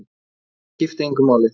Það skipti engu máli.